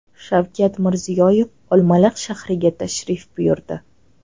Shavkat Mirziyoyev Olmaliq shahriga tashrif buyurdi .